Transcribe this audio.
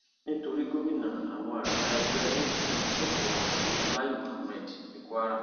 nítorí gómìnà àwọn àgbà ẹgbẹ apc sọkò ọrọ sí lai muhammed ní kwara